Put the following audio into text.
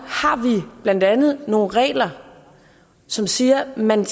har vi blandt andet nogle regler som siger at man